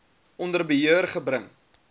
onder beheer gebring